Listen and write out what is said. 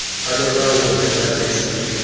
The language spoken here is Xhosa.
anolawulo lwentando yeninzi